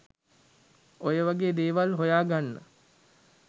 ඔය වගේ දේවල් හොයාගන්න.